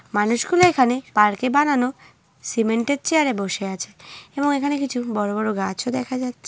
মানুষ গুলো এখানে পার্ক এ বানানো সিমেন্ট -এর চেয়ার এ বসে আছে এবং এখানে কিছু বড়ো বড়ো গাছও দেখা যাচ্ছে।